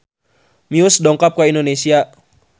Muse dongkap ka Indonesia